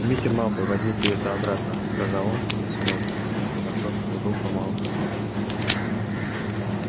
мистер малфой возьмите это обратно сказал он и сунув носок в руку малфоя